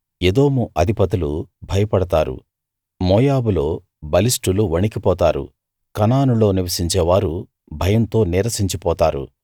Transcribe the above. ఎదోము అధిపతులు భయపడతారు మోయాబులో బలిష్ఠులు వణికిపోతారు కనానులో నివసించే వారు భయంతో నీరసించి పోతారు